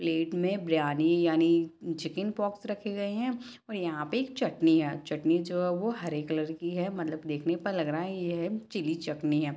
Plate में बिरयानी यानि chicken pox रखे गए है और यहाँ पे एक चटनी है चटनी जो है वो हरे कलर की है मतलब देखने पर लग रहा ये है चिली चटनी है।